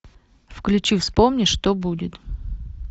включи вспомни что будет